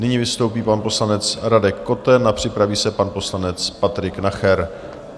Nyní vystoupí pan poslanec Radek Koten a připraví se pan poslanec Patrik Nacher.